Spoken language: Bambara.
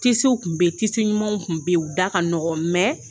Tisiw tun bɛ yen, tixi ɲumanw tun bɛ yen, u da ka nɔgɔn mɛn.